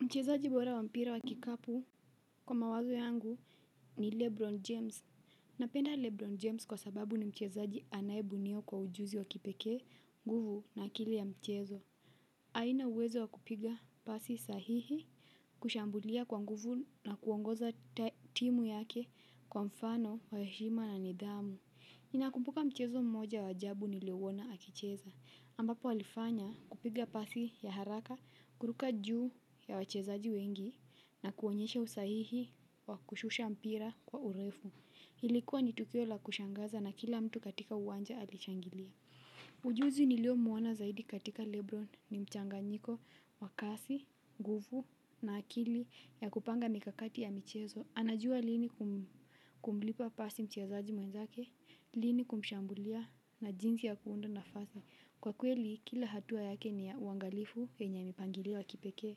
Mchezaji bora wa mpira wa kikapu. Kwa mawazo yangu ni Lebron James. Napenda Lebron James kwa sababu ni mchezaji anaiyebuniwa kwa ujuzi wa kipekee nguvu na akili ya mchezo. Aina uwezo wa kupiga pasi sahihi. Kushambulia kwa nguvu na kuongoza timu yake kwa mfano wa heshima na nidhamu. Ninakumpuka mchezo mmoja wa ajabu niliona akicheza ambapo alifanya kupiga pasi ya haraka, kuruka juu ya wachezaji wengi na kuonyesha usahihi wa kushusha mpira kwa urefu. Ilikuwa ni tukio la kushangaza na kila mtu katika uwanja alishangilia. Ujuzi niliomuona zaidi katika Lebron ni mchanganyiko wa kasi, nguvu na akili ya kupanga mikakati ya michezo. Anajua lini kumlipa pasi mchezaji mwenzake, lini kumshambulia na jinsi ya kuunda nafasi. Kwa kweli, kila hatua yake ni uangalifu wenya mipangilio ya kipekee.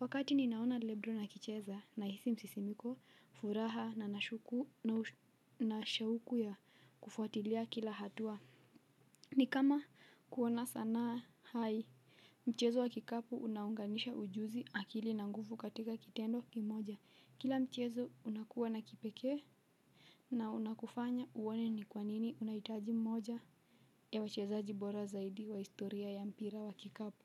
Wakati ninaona Lebro akicheza nahisi msisimiko, furaha na shauku ya kufuatilia kila hatua. Ni kama kuona sana hai, mchezo wa kikapu unaunganisha ujuzi akili na nguvu katika kitendo kimoja. Kila mchezo unakuwa na kipekee na unakufanya uone ni kwa nini unahitaji mmoja ya wachezaji bora zaidi wa historia ya mpira wa kikapo.